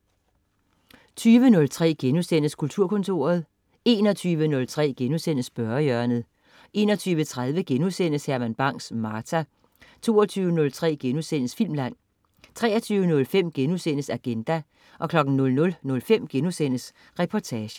20.03 Kulturkontoret* 21.03 Spørgehjørnet* 21.30 Herman Bang: Martha* 22.03 Filmland* 23.05 Agenda* 00.05 Reportagen*